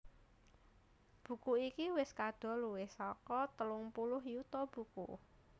Buku iki wis kadol luwih saka telung puluh yuta buku